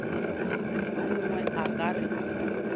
yo mongwe a ka re